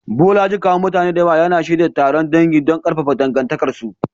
Bolaji, kawun mutane da yawa, yana shirya taron dangi don ƙarfafa dangantakarsu.